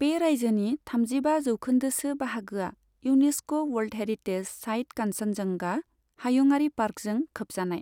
बे रायजोनि थामजिबा जौखोन्दोसो बाहागोआ UNESCO world heritage site Kanchenjunga हायुंआरि पार्कजों खोबजानाय।